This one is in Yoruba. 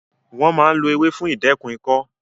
Wọ́n máa ń lo ewé fún ìdẹ́kun ikọ́